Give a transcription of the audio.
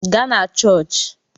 Gaa na chọọchị!